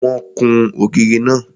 Wọ́n kún ògiri náà.